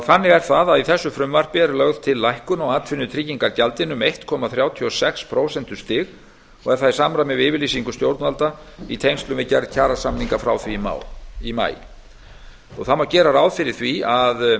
þannig er það að í þessu frumvarpi er lögð til lækkun á atvinnutryggingagjaldinu um einn komma þrjátíu og sex prósentustig og er það í samræmi við yfirlýsingu stjórnvalda í tengslum við gerð kjarasamninga frá því í maí gera má ráð fyrir að